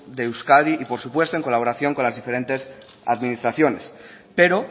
de euskadi y por supuesto en colaboración con las diferentes administraciones pero